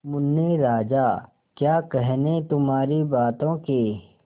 मुन्ने राजा क्या कहने तुम्हारी बातों के